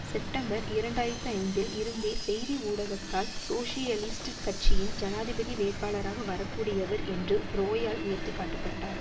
September இரண்டு ஆயிரத்தி ஐந்தில் இருந்தே செய்தி ஊடகத்தால் சோசியலிஸ்ட் கட்சியின் ஜனாதிபதி வேட்பாளராக வரக்கூடியவர் என்று ரோயால் உயர்த்தி காட்ட பட்டார்